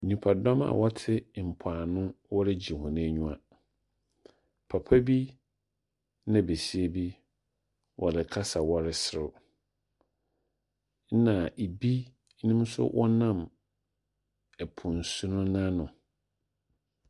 Nnipa dɔm a wɔte mpoano wɔregye wɔn aniwa. Papa bi na besiabi wɔrekasa, wɔreserew. Ɛna ebi nso wɔnam ɛpo nsu no n'ano.